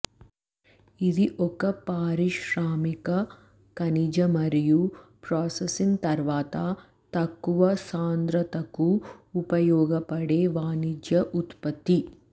ఇది ఒక పారిశ్రామిక ఖనిజ మరియు ప్రాసెసింగ్ తర్వాత తక్కువ సాంద్రతకు ఉపయోగపడే వాణిజ్య ఉత్పత్తి